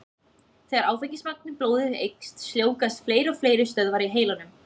Þegar áfengismagn í blóði eykst, sljóvgast fleiri og fleiri stöðvar í heilanum.